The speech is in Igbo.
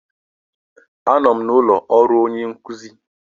Anọ m n'ụlọ ọrụ onye nkuzi.